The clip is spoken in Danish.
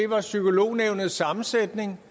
var psykolognævnets sammensætning